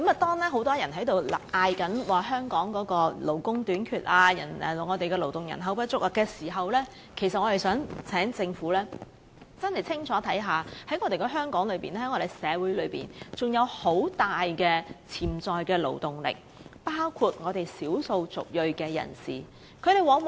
當很多人高喊香港勞工短缺及勞動人口不足時，其實我們希望政府清楚看到香港社會仍有大量潛在勞動力，包括少數族裔人士。